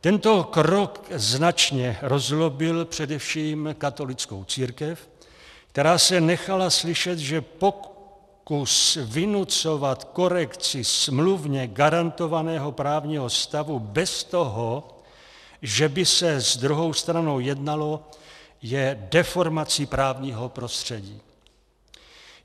Tento krok značně rozzlobil především katolickou církev, která se nechala slyšet, že pokus vynucovat korekci smluvně garantovaného právního stavu bez toho, že by se s druhou stranou jednalo, je deformací právního prostředí.